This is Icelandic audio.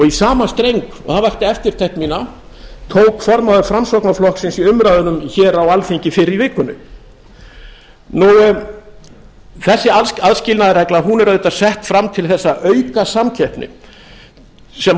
í sama streng og það vakti eftirtekt mína tók formaður framsóknarflokksins í umræðunum hér á alþingi fyrr í vikunni þessi aðskilnaðarregla er auðvitað sett fram til þess að auka samkeppni sem að